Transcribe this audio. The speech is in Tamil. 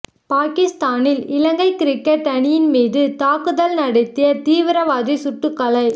பாகிஸ்தானில் இலங்கை கிரிக்கெட் அணியின் மீது தாக்குதல் நடத்திய தீவிரவாதி சுட்டு கொலை